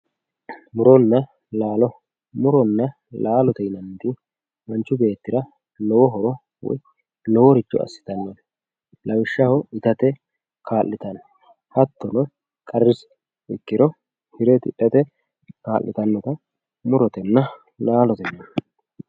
muronna laalo. muronna laalote yinanniti manchu beettira lowo horo uyiitanno loworicho assitannote lawishshaho itate kaa'litanno hattono karrise ikkiro hire tidhate kaa'litannota murotenna laalote yinanni.